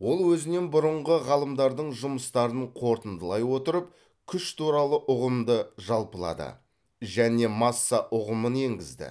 ол өзінен бұрынғы ғалымдардың жұмыстарын қорытындылай отырып күш туралы ұғымды жалпылады және масса ұғымын енгізді